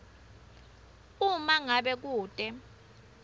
uma ngabe kute